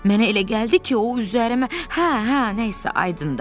Mənə elə gəldi ki, o üzərimə, hə, hə, nə isə, aydındır.